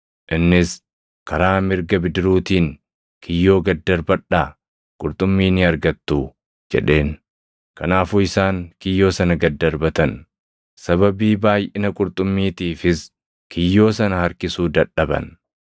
Innis, “Karaa mirga bidiruutiin kiyyoo gad darbadhaa; qurxummii ni argattuu” jedheen. Kanaafuu isaan kiyyoo sana gad darbatan; sababii baayʼina qurxummiitiifis kiyyoo sana harkisuu dadhaban.